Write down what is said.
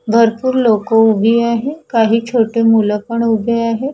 भरपूर लोक उभी आहे काही छोटे मुलं पण उभे आहे.